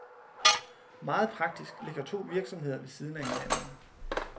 Meget praktisk ligger to virksomheder ved siden af hinanden.